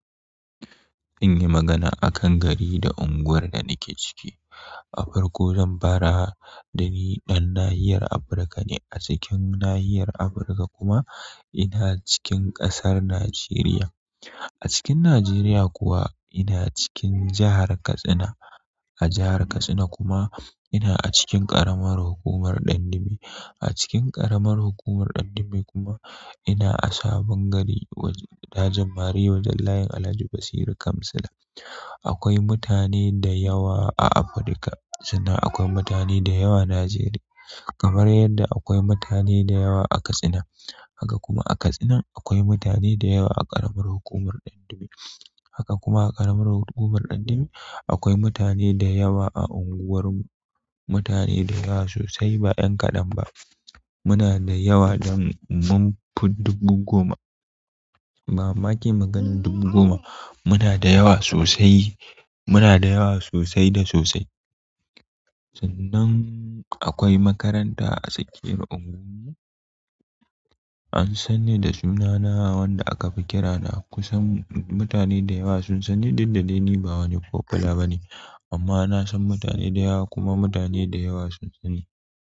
Zan yi magana a kan gari da unguwar da nake ciki. Da farko zan fara da ni ɗan nahiyar Afirika ne. A cikin nahiyar Afirika kuma ina cikin ƙasar Najeriya. A cikin Najeriya kuwa ina cikin jahar Katsina. A jahar Katsina kuma ina a cikin ƙaramar hukumar Dandume. A cikin ƙaramar hukumar Dandume kuma ina a sabon gari wajen dajin Mariya wajen layin Alhaji Basiru Kamsila. Akwai mutane da yawa a Afirika sannan akwai mutane da yawa Najeriya kamar yadda akwai mutane da yawa a Katsina. Haka kuma a Katsina akwai mutane da yawa a ƙaramar hukumar Dandume. Haka kuma a ƙaramar hukumar Dandume akwai mutane da yawa a unguwar mu. Mutane da yawa sosai ba ƴan kaɗan ba. Muna da yawa don mun fi dubu goma wa ma ke maganar dubu goma. Muna da yawa sosai. Muna da yawa sosai da sosai. Sannan akwai makaranta a tsakiyar unguwar mu. An sani da sunana wanda aka fi kira da kusan mutane da yawa sun sani duk da dai ni ba wani popular ba ne amma na san mutane da yawa kuma mutane da yawa sun sani.